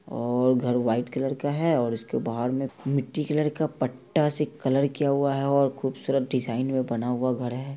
और घर white colour का है और इसके बाहर में मट्टी कलर का पट्टा से कलर किया हुआ है। खूबसूरत डिजाईन में बना हुआ घर है।